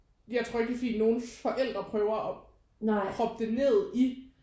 Jeg tror ikke at det er fordi nogens forældre prøver at proppe det ned i